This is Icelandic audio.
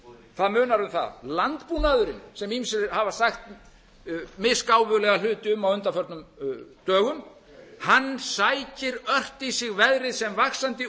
það munar um það landbúnaðurinn sem ýmsir hafa sagt misgáfulegt hluti um á undanförnum dögum sækir ört í sig gerir sem vaxandi